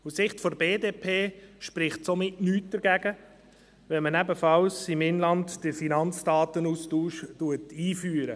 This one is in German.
Aus Sicht der BDP spricht somit nichts dagegen, auch im Inland den Finanzdatenaustausch einzuführen.